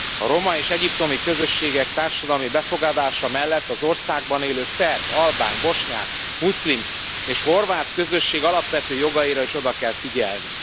A roma és egyiptomi közösségek társadalmi befogadása mellett az országban élő szerb, albán, bosnyák, muszlim és horvát közösség alapvető jogaira is oda kell figyelni.